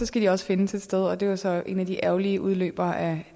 skal de også findes et sted og det var så en af de ærgerlige udløbere af